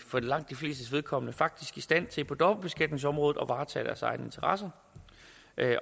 for langt de flestes vedkommende faktisk i stand til på dobbeltbeskatningsområdet at varetage deres egne interesser